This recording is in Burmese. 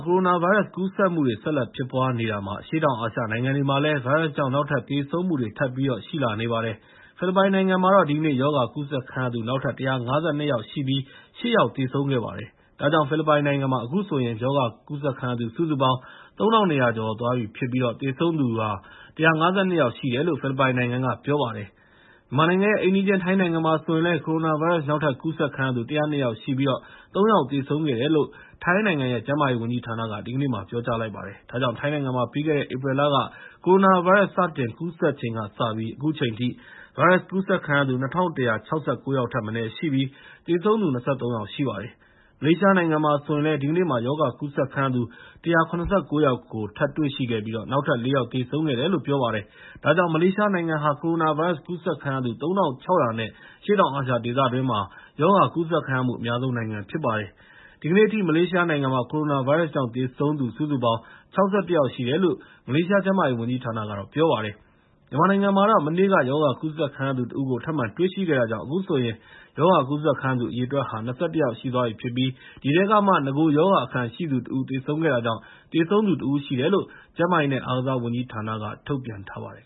ကိုရိုနာဗိုင်းရပ်စ် ကူးစက်မှုတွေ ဆက်လက်ဖြစ်ပွားနေတာမှာ အရှေ့တောင်အာရှက နိုင်ငံတွေမှာလည်း ဗိုင်းရပ်စ်ကြောင့် နောက်ထပ် သေဆုံးမှုတွေ ထပ်ပြီး ရှိလာနေပါတယ်။ ဖိလစ်ပိုင်နိုင်ငံမှာတော့ ဒီနေ့ ရောဂါကူးစက်ခံရသူ နောက်ထပ် ၁၅၂ ယောက်ရှိပြီး ၈ ယောက် သေဆုံးခဲ့ပါတယ်။ ဒါကြောင့် ဖိလစ်ပိုင်နိုင်ငံမှာ အခုဆိုရင် ရောဂါကူးစက်ခံရသူ စုစုပေါင်း ၃၂၀၀ ကျော်သွားပြီဖြစ်ပြီး သေဆုံးသူ စုစုပေါင်း ၁၅၂ ယောက်ရှိတယ်လို့ ဖိလစ်ပိုင်နိုင်ငံက ပြောပါတယ်။ မြန်မာနိုင်ငံရဲ့ အိမ်နီးချင်း ထိုင်းနိုင်ငံမှာဆိုရင်လည်း ကိုရိုနာဗိုင်းရပ်စ် နောက်ထပ် ကူးစက်ခံရတဲ့သူ ၁၀၂ ယောက်ရှိပြီး ၃ ယောက် သေဆုံးခဲ့တယ်လို့ ထိုင်းနိုင်ငံ ကျန်းမာရေးဝန်ကြီးဌာနက ဒီကနေ့မှာ ပြောကြားလိုက်ပါတယ်။ ဒါကြောင့် ထိုင်းနိုင်ငံမှာ ပြီးခဲ့တဲ့ ဧပြီလက ကိုရိုနာဗိုင်းရပ်စ် စတင်ကူးစက်ခံရချိန်ကစပြီး အခုချိန်ထိ ဗိုင်းရပ်စ်ကူးစက်ခံရသူ ၂၁၆၉ ယောက်ထက်မနည်း ရှိပြီး သေဆုံးသူ ၂၃ ယောက် ရှိပါတယ်။ မလေးရှားနိုင်ငံမှာဆိုရင်လည်း ဒီကနေ့မှာ ရောဂါကူးစက်ခံရသူ ၁၇၉ ယောက်ကို တွေ့ရှိခဲ့ပြီး နောက်ထပ် ၄ ယောက် သေဆုံးခဲ့တယ်လို့ ပြောပါတယ်။ ဒါကြောင့် မလေးရှားနိုင်ငံမှာ ကိုရိုနာဗိုင်းရပ်စ် ကူးစက်ခံရသူ ၃၆၀၀ ကျော်နဲ့ အရှေ့တောင်အာရှ ဒေသတွင်းမှာ ရောဂါကူးစက်ခံရမှု အများဆုံးနိုင်ငံ ဖြစ်ပါတယ်။ ဒီကနေ့အထိ မလေးရှားနိုင်ငံမှာ ကိုရိုနာဗိုင်းရပ်စ်ကြောင့် သေဆုံးသူစုစုပေါင်း ၆၁ ယောက်ရှိတယ်လို့ မလေးရှား ကျန်းမာရေးဝန်ကြီးဌာနက ပြောပါတယ်။ မြန်မာနိုင်ငံမှာ မနေ့က ရောဂါကူးစက်ခံရသူတဦးကို ထပ်မံတွေ့ရှိခဲ့တာကြောင့် အခုဆိုရင် ရောဂါကူးစက်ခံရသူ အရေအတွက်ဟာ ၂၁ ယောက်ရှိသွားပြီဖြစ်ပြီး ဒီထဲကမှ နဂိုရောဂါအခံရှိသူတဦး သေဆုံးခဲ့တာကြောင့် သေဆုံးသူ ၁ ဦးရှိတယ်လို့ ကျန်းမာရေးနဲ့ အားကစားဝန်ကြီးဌာနက ထုတ်ပြန်ထားပါတယ်